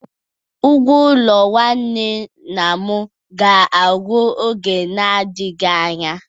Ụgwo-ụlo nwanne nna ga-agwu n'ọge na adighị anya